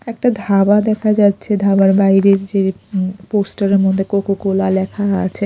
একটা ধাবা দেখা যাচ্ছে ধাবার বাইরের যে উ পোস্টার -এর মধ্যে কোকোকোলা লেখা আছে।